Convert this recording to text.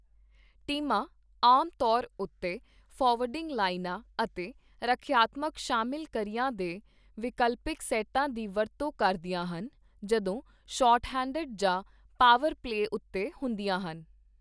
ਟੀਮਾਂ ਆਮ ਤੌਰ ਉੱਤੇ ਫਾਰਵਰਡਿੰਗ ਲਾਈਨਾਂ ਅਤੇ ਰੱਖਿਆਤਮਕ ਸ਼ਾਮਿਲ ਕਰੀਆਂ ਦੇ ਵਿਕਲਪਿਕ ਸੈੱਟਾਂ ਦੀ ਵਰਤੋਂ ਕਰਦੀਆਂ ਹਨ, ਜਦੋਂ ਸ਼ਾਰਟਹੈਂਡਡ ਜਾਂ ਪਾਵਰ ਪਲੇਅ ਉੱਤੇ ਹੁੰਦੀਆਂ ਹਨ।